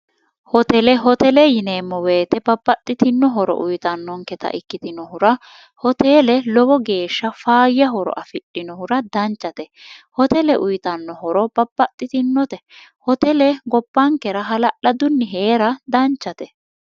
hotele hotele yineemmo weyite babbaxxitinohoro uyitannonketa ikkitinohura hotele lowo geeshsha faayyahoro afidhinohura danchate hotele uyitannohoro babbaxxitinote hotele gobbankera hala'ladunni hee'ra danchate